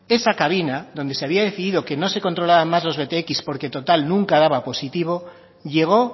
esa cabina donde se había decidido que no se controlaban más los btx porque total nunca daba positivo llegó